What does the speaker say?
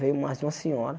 Veio mais de uma senhora.